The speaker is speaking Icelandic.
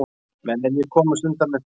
Mennirnir komust undan með fenginn